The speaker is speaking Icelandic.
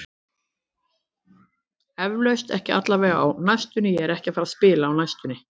Eflaust, ekki allavega á næstunni, ég er ekki að fara að spila á næstunni.